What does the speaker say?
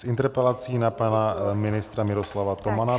S interpelací na pana ministra Miroslava Tomana.